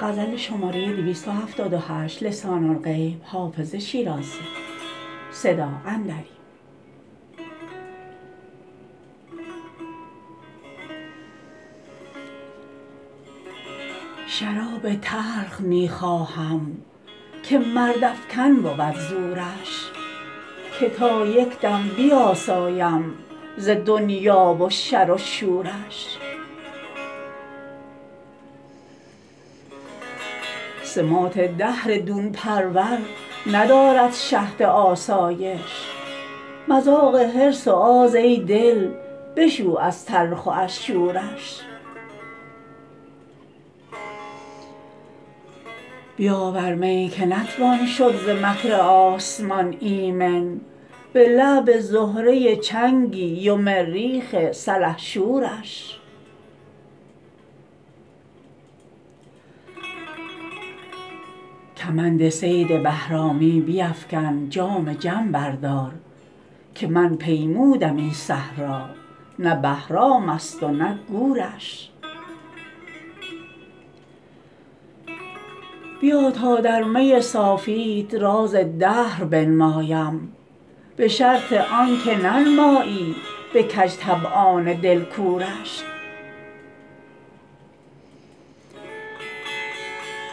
شراب تلخ می خواهم که مردافکن بود زورش که تا یک دم بیاسایم ز دنیا و شر و شورش سماط دهر دون پرور ندارد شهد آسایش مذاق حرص و آز ای دل بشو از تلخ و از شورش بیاور می که نتوان شد ز مکر آسمان ایمن به لعب زهره چنگی و مریخ سلحشورش کمند صید بهرامی بیفکن جام جم بردار که من پیمودم این صحرا نه بهرام است و نه گورش بیا تا در می صافیت راز دهر بنمایم به شرط آن که ننمایی به کج طبعان دل کورش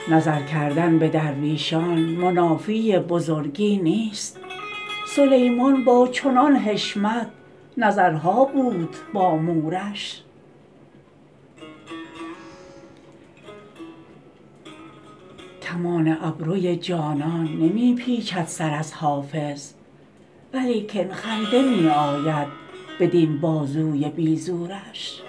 نظر کردن به درویشان منافی بزرگی نیست سلیمان با چنان حشمت نظرها بود با مورش کمان ابروی جانان نمی پیچد سر از حافظ ولیکن خنده می آید بدین بازوی بی زورش